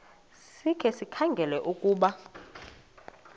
sikhe sikhangele ukuba